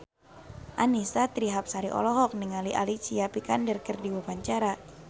Annisa Trihapsari olohok ningali Alicia Vikander keur diwawancara